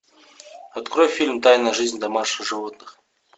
открой фильм тайная жизнь домашних животных